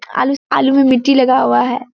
आलू आलू में मिट्टी लगा हुआ है।